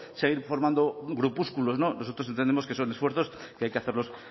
seguir formando grupúsculos no nosotros entendemos que son esfuerzos que hay que hacerlos